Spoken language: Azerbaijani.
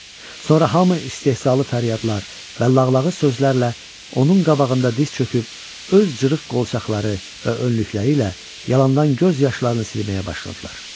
Sonra hamı istehzalı fəryadlar və lağlağı sözlərlə onun qabağında diz çöküb öz cırıq qolçaqları və önlükləri ilə yalandan göz yaşlarını silməyə başladılar.